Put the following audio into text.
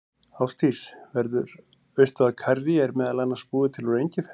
Ásdís, veistu að karrí er meðal annars búið til úr engifer?